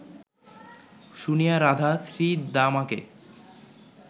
শুনিয়া রাধা শ্রীদামাকে